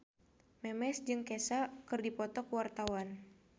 Memes jeung Kesha keur dipoto ku wartawan